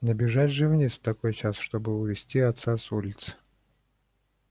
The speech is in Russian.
не бежать же вниз в такой час чтобы увести отца с улицы